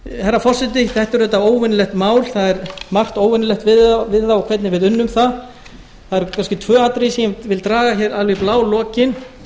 herra forseti þetta er auðvitað óvenjulegt mál það er margt óvenjulegt við það og hvernig við unnum það það eru kannski tvö atriði sem ég vil draga hér fram alveg í blálokin